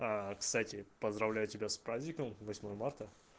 кстати поздравляю тебя с праздником восьмое марта